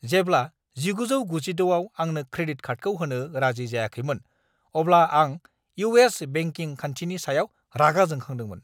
जेब्ला 1996 आव आंनो क्रेडिट कार्डखौ होनो राजि जायाखैमोन अब्ला आं इउ. एस. बेंकिं खान्थिनि सायाव रागा जोंखांदोंमोन।